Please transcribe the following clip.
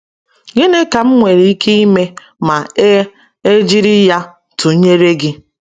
“Gịnị ka m nwere ike ime ma e e jiri ya tụnyere gị?”